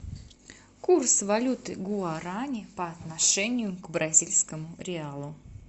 курс валюты гуарани по отношению к бразильскому реалу